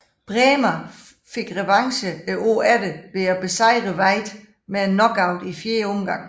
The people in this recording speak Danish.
Brähmer fik revanche året efter ved at besejre Veit med en knockout i fjerde omgang